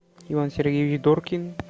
иван сергеевич доркин